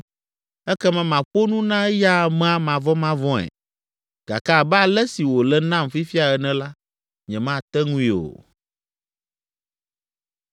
Ekema maƒo nu na eya amea mavɔmavɔ̃e, gake abe ale si wòle nam fifia ene la, nyemate ŋui o.”